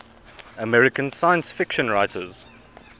american science fiction writers